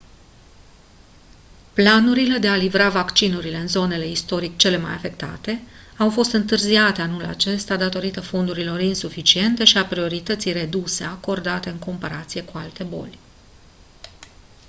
planurile de a livra vaccinurile în zonele istoric cele mai afectate au fost întârziate anul acesta datorită fondurilor insuficiente și a priorității reduse acordate în comparație cu alte boli